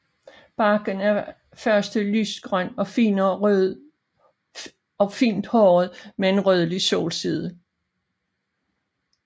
Barken er først lysegrøn og fint håret med en rødlig solside